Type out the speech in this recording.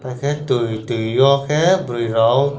arokhe tui tui o khe burui rok.